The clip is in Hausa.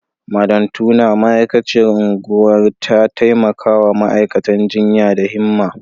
Madam Turner, ma’aikaciyar unguwar, ta taimaka wa ma’aikatan jinya da himma.